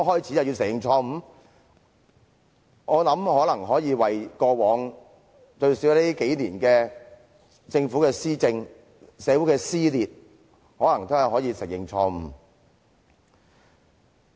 我覺得他們大可為過往，最少是近年來政府的施政、社會的撕裂而承認錯誤。